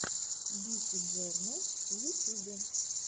биси джорнал в ютюбе